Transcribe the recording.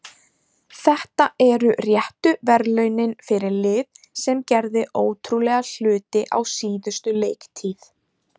Þetta eru réttu verðlaunin fyrir lið sem gerði ótrúlega hluti á síðustu leiktíð.